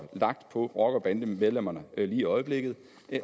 lagt på rocker bande medlemmerne lige i øjeblikket